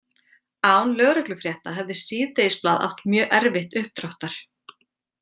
Án lögreglufrétta hefði síðdegisblað átt mög erfitt uppdráttar.